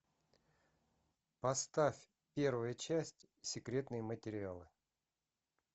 поставь первая часть секретные материалы